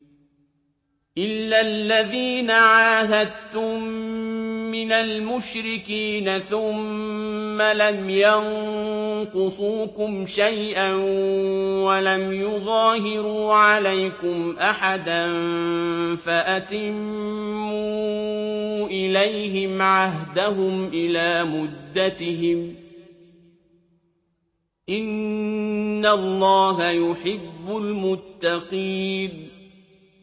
إِلَّا الَّذِينَ عَاهَدتُّم مِّنَ الْمُشْرِكِينَ ثُمَّ لَمْ يَنقُصُوكُمْ شَيْئًا وَلَمْ يُظَاهِرُوا عَلَيْكُمْ أَحَدًا فَأَتِمُّوا إِلَيْهِمْ عَهْدَهُمْ إِلَىٰ مُدَّتِهِمْ ۚ إِنَّ اللَّهَ يُحِبُّ الْمُتَّقِينَ